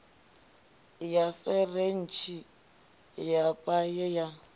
ya referentsi ya paye ya